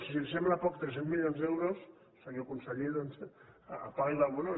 bé si li sembla poc tres cents milions d’euros senyor conseller doncs apaga y vámonos